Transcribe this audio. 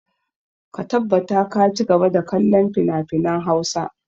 Ka tabbata ka ci gaba da kallon finafinan Hausa!